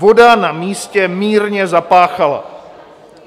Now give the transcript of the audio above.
Voda na místě mírně zapáchala."